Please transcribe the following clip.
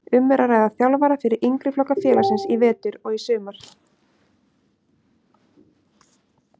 Um er að ræða þjálfara fyrir yngri flokka félagsins í vetur og í sumar.